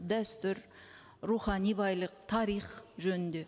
дәстүр рухани байлық тарих жөнінде